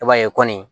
I b'a ye kɔni